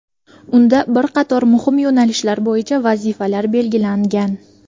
Unda bir qator muhim yo‘nalishlar bo‘yicha vazifalar belgilangan.